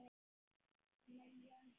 Milljón hér.